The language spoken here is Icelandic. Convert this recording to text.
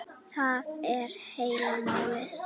Það er heila málið!